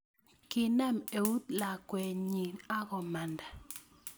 Kinam eut lakwenyi akamanda